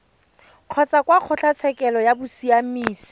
kgotsa kwa kgotlatshekelo ya bosiamisi